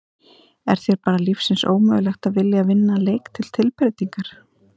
Er þér bara lífsins ómögulegt að vilja að vinna leik til tilbreytingar!?